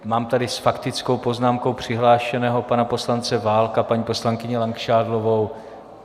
Mám tady s faktickou poznámkou přihlášeného pana poslance Válka, paní poslankyni Langšádlovou.